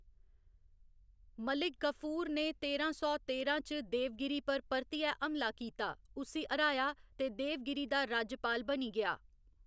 मलिक कफूर ने तेरां सौ तेरां च देवगिरी पर परतियै हमला कीता, उस्सी हराया ते देवगिरी दा राज्यपाल बनी गेआ।